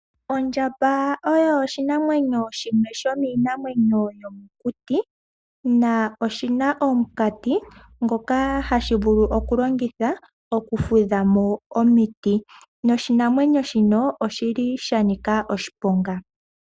Ondjamba oyo oshinamwenyo shimwe shomiinamwenyo yomokuti. Oshi na omukati ngoka hashi vulu okulongitha okufula mo omiti, noshinamwenyo shino osha nika oshiponga.